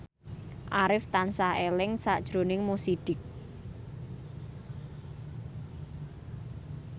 Arif tansah eling sakjroning Mo Sidik